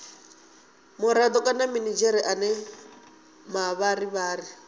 murado kana minidzhere ane mavharivhari